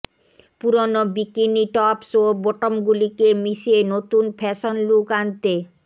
পুরনো bikini tops ও বটমগুলিকে মিশিয়ে নতুন ফ্যাশন লুক আনতে